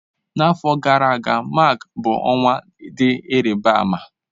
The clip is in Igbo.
N'afọ gara aga, Mak bụ ọnwa dị ịrịba ama.